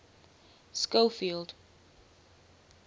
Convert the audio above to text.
schofield